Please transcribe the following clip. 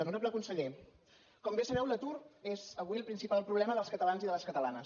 honorable conseller com bé sabeu l’atur és avui el principal problema dels catalans i de les catalanes